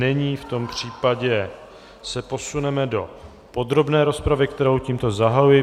Není, v tom případě se posuneme do podrobné rozpravy, kterou tímto zahajuji.